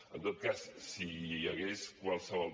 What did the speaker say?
en tot cas si hi hagués qualsevol